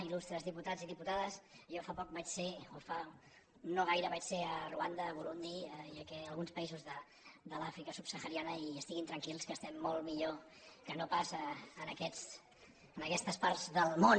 il·lustres diputats i diputades jo fa poc vaig ser o fa no gaire a ruanda a burundi i a alguns països de l’àfrica subsahariana i estiguin tranquils que estem molt millor que no pas en aquestes parts del món